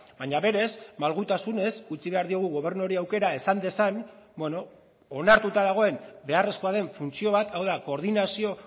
baina berez malgutasunez utzi behar diogu gobernuari aukera esan dezan onartuta dagoen beharrezkoa den funtzio bat hau da koordinazio